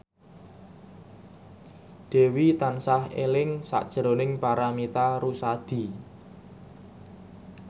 Dewi tansah eling sakjroning Paramitha Rusady